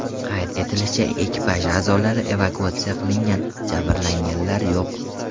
Qayd etilishicha, ekipaj a’zolari evakuatsiya qilingan, jabrlanganlar yo‘q.